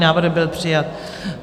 Návrh byl přijat.